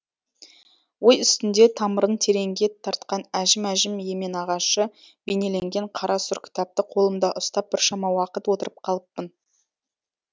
ой үстінде тамырын тереңге тартқан әжім әжім емен ағашы бейнеленген қара сұр кітапты қолымда ұстап біршама уақыт отырып қалыппын